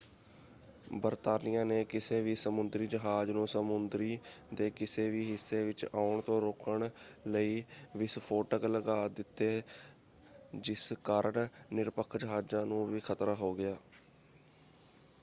ਬਰਤਾਨੀਆ ਨੇ ਕਿਸੇ ਵੀ ਸਮੁੰਦਰੀ ਜਹਾਜ਼ ਨੂੰ ਸਮੁੰਦਰੀ ਦੇ ਕਿਸੇ ਵੀ ਹਿੱਸੇ ਵਿੱਚ ਆਉਣ ਤੋਂ ਰੋਕਣ ਲਈ ਵਿਸਫੋਟਕ ਲਗਾ ਦਿੱਤੇ ਜਿਸ ਕਾਰਨ ਨਿਰਪੱਖ ਜਹਾਜ਼ਾਂ ਨੂੰ ਵੀ ਖਤਰਾ ਹੋ ਗਿਆ।